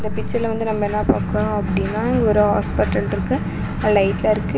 இந்த பிச்சர்ல வந்து நம்ம என்னா பாக்றோம் அப்டின்னா இங்க ஒரு ஹாஸ்பிட்டல்ருக்கு அ லைட்லாம் இருக்கு.